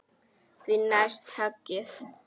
Því næst höggið.